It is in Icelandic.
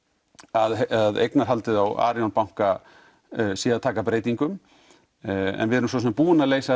að eignarhaldið á Arion banka sé að taka breytingum en við erum svo sem búin að leysa